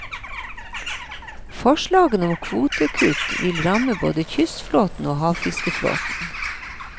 Forslagene om kvotekutt vil ramme både kystflåten og havfiskeflåten.